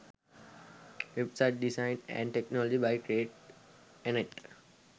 website design & technology by create anet